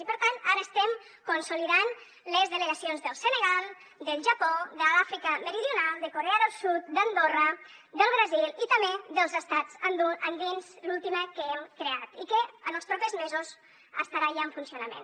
i per tant ara estem consolidant les delegacions del senegal del japó de l’àfrica meridional de corea del sud d’andorra del brasil i també dels estats andins l’última que hem creat i que en els propers mesos estarà ja en funcionament